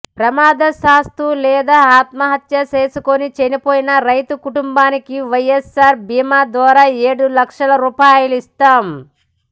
ప్రమాదవశాత్తు లేదా ఆత్మహత్య చేసుకొని చనిపోయిన రైతు కుటుంబానికి వైఎస్ఆర్ బీమా ద్వారా ఏడూ లక్షల రూపాయలిస్తాం